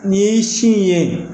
Ni ye sin in ye